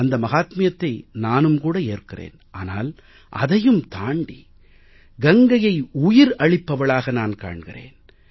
அந்த மஹாத்மியத்தை நானும் கூட ஏற்கிறேன் ஆனால் அதையும் தாண்டி கங்கையை உயிர் அளிப்பவளாக நான் காண்கிறேன்